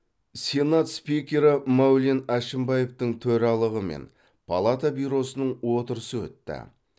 сенат спикері мәулен әшімбаевтың төрағалығымен палата бюросының отырысы өтті